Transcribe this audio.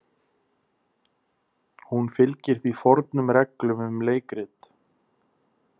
Hún fylgir því fornum reglum um leikrit.